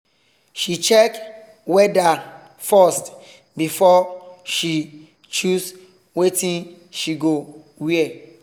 she check weather first before she choose wetin she go wear